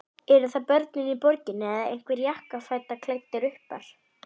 Eru það börnin í borginni eða einhverjir jakkafataklæddir uppar?